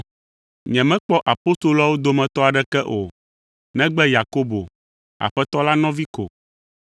Nyemekpɔ apostoloawo dometɔ aɖeke o, negbe Yakobo, Aƒetɔ la nɔvi ko.